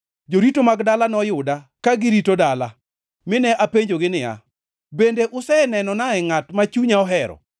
Jorito mag dala noyuda ka girito dala, mine apenjogi niya “Bende usenenonae ngʼat ma chunya ohero?”